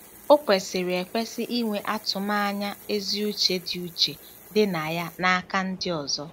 O kwesịrị ekwesị inwe atụmanya ezi uche dị uche dị na ya n'aka ndị ọzọ.